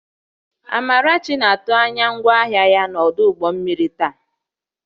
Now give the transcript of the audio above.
Amarachi na-atụ anya ngwaahịa ya n'ọdụ ụgbọ mmiri taa